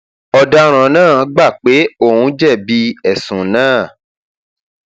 ọdaràn náà gbà pé òun jẹbi ẹsùn náà